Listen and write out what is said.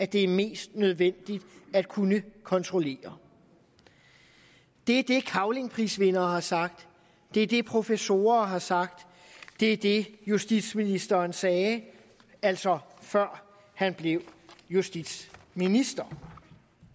det er mest nødvendigt at kunne kontrollere det er det cavlingprisvindere har sagt det er det professorer har sagt det er det justitsministeren sagde altså før han blev justitsminister